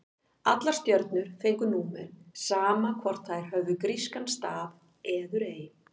Allar stjörnur fengu númer, sama hvort þær höfðu grískan staf eður ei.